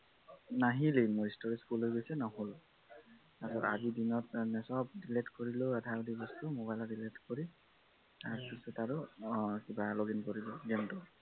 নাহিলেই মোৰ storage full হৈ গৈছে নহল তাৰপা আজি দিনত চব delete কৰি আধা আধি বস্তু mobile delete কৰি তাৰপাছত আৰু কিবা login কৰিলো game টো